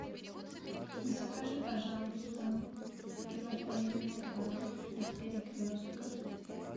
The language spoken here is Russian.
закажи пожалуйста килограмм винограда из перекрестка